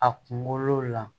A kunkolo la